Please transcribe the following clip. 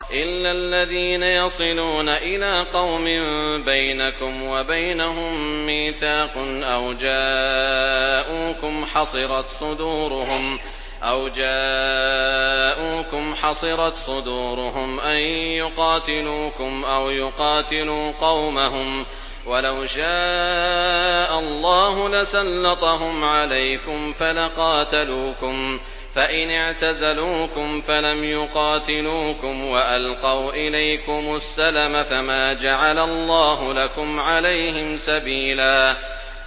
إِلَّا الَّذِينَ يَصِلُونَ إِلَىٰ قَوْمٍ بَيْنَكُمْ وَبَيْنَهُم مِّيثَاقٌ أَوْ جَاءُوكُمْ حَصِرَتْ صُدُورُهُمْ أَن يُقَاتِلُوكُمْ أَوْ يُقَاتِلُوا قَوْمَهُمْ ۚ وَلَوْ شَاءَ اللَّهُ لَسَلَّطَهُمْ عَلَيْكُمْ فَلَقَاتَلُوكُمْ ۚ فَإِنِ اعْتَزَلُوكُمْ فَلَمْ يُقَاتِلُوكُمْ وَأَلْقَوْا إِلَيْكُمُ السَّلَمَ فَمَا جَعَلَ اللَّهُ لَكُمْ عَلَيْهِمْ سَبِيلًا